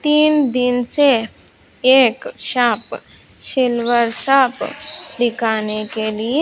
तीन दिन से एक शॉप सिल्वर शॉप दिखाने के लिए --